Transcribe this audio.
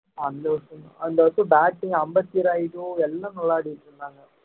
அந்த வருஷம்தான் அந்த வருஷம் batting அம்பத்தி ராயுடு எல்லாம் விளையாடிட்டு இருந்தாங்க